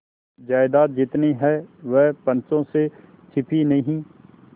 जायदाद जितनी है वह पंचों से छिपी नहीं